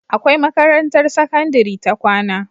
Akwai makarantar sakandari ta kwAna